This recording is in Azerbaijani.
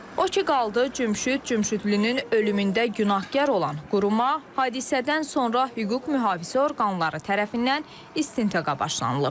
O ki qaldı Cümşüd Cümşüdlünün ölümündə günahkar olan quruma, hadisədən sonra hüquq-mühafizə orqanları tərəfindən istintaqa başlanılıb.